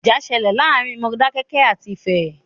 Ìjà ṣẹlẹ̀ láàárín Modákẹ́kẹ́ àti Ifẹ̀.